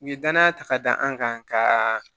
U ye danaya ta ka da an kan ka